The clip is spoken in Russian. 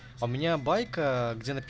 у меня байка где напи